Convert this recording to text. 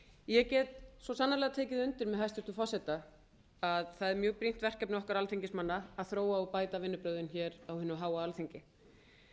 ég get svo sannarlega tekið undir með hæstvirtum forseta það er mjög brýnt verkefni okkar alþingismanna að þróa og bæta vinnubrögðin hér á hinu háa alþingi